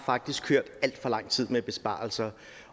har kørt alt for lang tid med besparelser